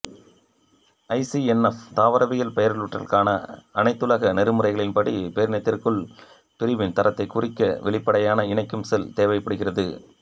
ஐசிஎன்ஆப் தாவரவியல் பெயரிடலுக்கான அனைத்துலக நெறிமுறைகளின் படி பேரினத்திற்குள் பிரிவின் தரத்தைக் குறிக்க வெளிப்படையான இணைக்கும் சொல் தேவைப்படுகிறது